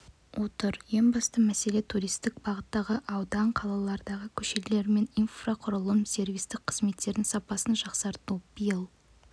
отыр ең басты мәселе туристік бағыттағы аудан-қалалардағы көшелер мен инфрақұрылымдық сервистік қызметтердің сапасын жақсарту биыл